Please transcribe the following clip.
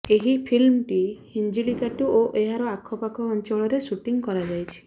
ଏହି ଫିଲ୍ମଟି ହିଞ୍ଜିଳିକାଟୁ ଓ ଏହାର ଆଖପାଖ ଅଞ୍ଚଳରେ ଶୁଟିଂ କରାଯାଇଛି